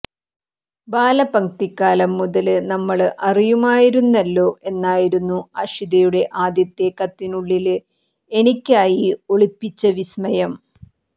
ബാലപംക്തിക്കാലം മുതല് നമ്മള് അറിയുമായിരുന്നല്ലോ എന്നായിരുന്നു അഷിതയുടെ ആദ്യത്തെ കത്തിനുള്ളില് എനിക്കായി ഒളിപ്പിച്ച വിസ്മയം